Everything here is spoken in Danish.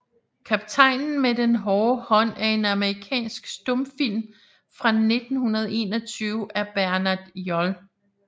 Kaptajnen med den haarde Haand er en amerikansk stumfilm fra 1921 af Bernard J